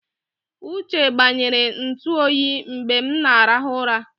Uche gbanyere ntụ oyi mgbe m na-arahụ ụra.